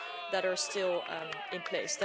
that are still in place.